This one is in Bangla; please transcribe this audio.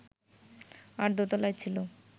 আর দোতলায় ছিল